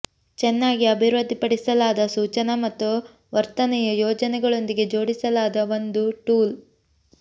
ಚೆನ್ನಾಗಿ ಅಭಿವೃದ್ಧಿಪಡಿಸಲಾದ ಸೂಚನಾ ಮತ್ತು ವರ್ತನೆಯ ಯೋಜನೆಗಳೊಂದಿಗೆ ಜೋಡಿಸಲಾದ ಒಂದು ಟೂಲ್